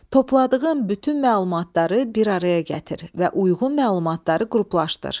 Topladığın bütün məlumatları bir araya gətir və uyğun məlumatları qruplaşdır.